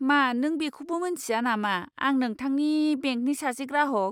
मा नों बेखौबो मिन्थिया नामा आं नोंथांनि बेंकनि सासे ग्राहक?